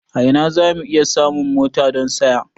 A ina za mu iya samun mota don saya?